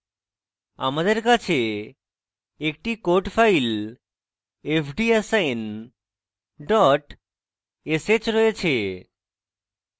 আমার কাছে একটি code file fdassign dot sh রয়েছে